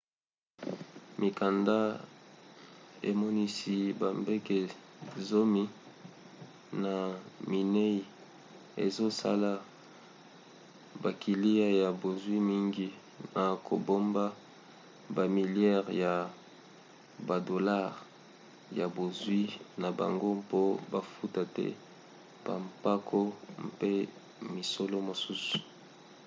mikanda emonisi babanke zomi na minei ezosalisa bakiliya ya bozwi mingi na kobomba bamiliare ya badolare ya bozwi na bango mpo bafuta te bampako mpe misolo mosusu